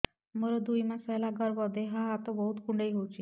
ମୋର ଦୁଇ ମାସ ହେଲା ଗର୍ଭ ଦେହ ହାତ ବହୁତ କୁଣ୍ଡାଇ ହଉଚି